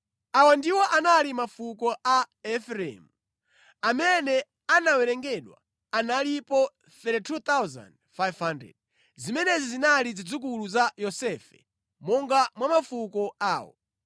Awa ndiwo anali mafuko a Efereimu. Amene anawerengedwa analipo 32,500. Zimenezi zinali zidzukulu za Yosefe monga mwa mafuko awo.